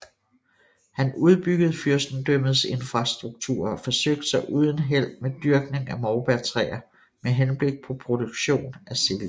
Han udbyggede fyrstendømmets infrastruktur og forsøgte sig uden held med dyrkning af morbærtræer med henblik på produktion af silke